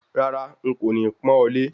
Rárá, n kò ní pọ́n ọ lé